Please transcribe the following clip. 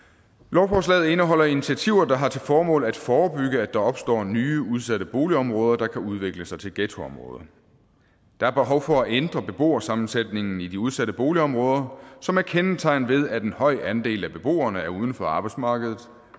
lovforslaget indeholder initiativer der har til formål at forebygge at der opstår nye udsatte boligområder der kan udvikle sig til ghettoområder der er behov for at ændre beboersammensætningen i de udsatte boligområder som er kendetegnet ved at en høj andel af beboerne er uden for arbejdsmarkedet